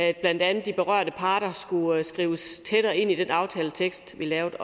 at blandt andet de berørte parter skulle skrives tættere ind i den aftaletekst vi lavede